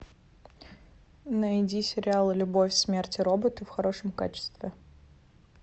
найди сериал любовь смерть и роботы в хорошем качестве